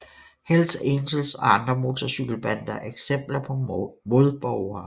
Hells Angels og andre motorcykelbander er eksempler på modborgere